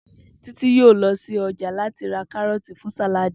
Titi yoo lọ si ọja lati ra karọọti fun sàláàdì.